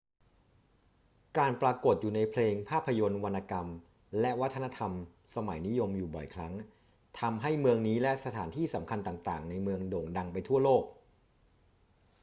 การปรากฏอยู่ในเพลง ภาพยนตร์ วรรณกรรม และวัฒนธรรมสมัยนิยมอยู่บ่อยครั้ง ทำให้เมืองนี้และสถานที่สำคัญต่าง ๆ ในเมืองโด่งดังไปทั่วโลก